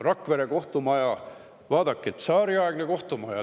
Rakvere kohtumaja on tsaariaegne kohtumaja.